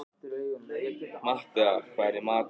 Matthea, hvað er í matinn?